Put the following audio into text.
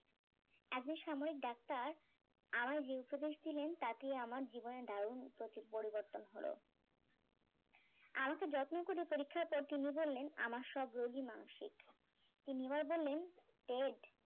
একজন সামায়িক ডাক্তার আমায় যে উপদেশ দিলেন তাতে আমার জীবনে দারুন পরিবর্তন হলো আমাকে যত্ন করে পরীক্ষার পর তিনি বললেন আমার সব রোগই মানসিক তিনি আমার বললেন টেড